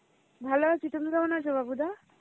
ভালো আছি তোমরা কেমন আছো বাবুদা?